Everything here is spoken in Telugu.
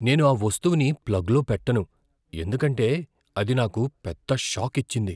నేను ఆ వస్తువుని ప్లగ్లో పెట్టను, ఎందుకంటే అది నాకు పెద్ద షాక్ ఇచ్చింది.